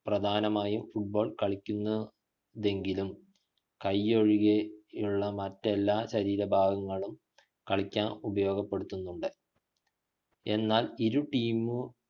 പ്രധാനമായും football കാലുകൊണ്ടാണ് കളിക്കുന്നതെങ്കിലും കയ്യൊഴികെ മെ മറ്റെല്ലാ ശരീര ഭാഗങ്ങളും കളിയ്ക്കാൻ ഉപയോഗപ്പെടുത്തുനുണ്ട് എന്നാൽ ഇരു team